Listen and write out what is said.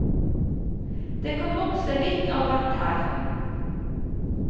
Det kan vokse litt av hvert her.